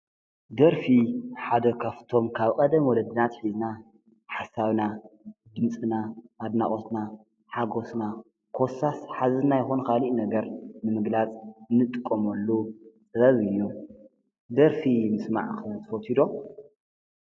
ደርፊ ሓደካፍቶም ካብ ቐደም ወለድናት ኂዝና ሓሳውና ድምፅና ኣድናቖትና ሓጐስና ኰሳስ ሓዚና ኾኑ ኻሊእ ነገር ንምግላጽ ንጥቆመሉ ጸበብ እዮም። ደርፊ ምስ ማዕኽን ፈቲዶ?